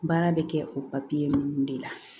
Baara bɛ kɛ o ninnu de la